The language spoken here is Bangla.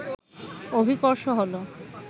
অভিকর্ষ হলো